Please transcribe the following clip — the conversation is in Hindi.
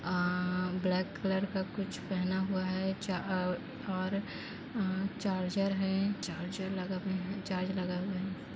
अ ब्लैक कलर का कुछ पहना हुआ है च और अ चार्जर है चार्जर लगा हुआ चार्ज लगा हुआ है।